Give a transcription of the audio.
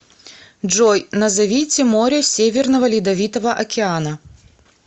джой назовите море северного ледовитого океана